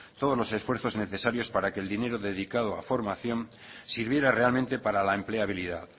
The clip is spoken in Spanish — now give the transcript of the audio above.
todos los esfuerzos necesarios para que el dinero dedicado a formación sirviera realmente para la empleabilidad